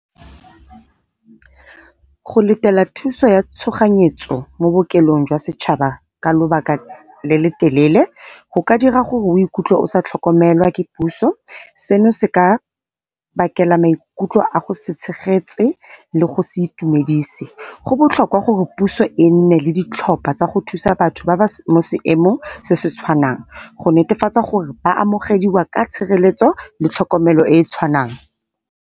Go letela thuso ya tshoganyetso mo bookelong jwa setšhaba ka lobaka le le telele go ka dira gore o ikutlwe o sa tlhokomelwa ke puso, seno se ka bakela maikutlo a go se tshegetse le go se itumedise. Go botlhokwa gore puso e nne le ditlhopha tsa go thusa batho seng mo seemong se se tshwanang, go netefatsa gore ba amogediwa ka tshireletso le tlhokomelo e e tshwanang.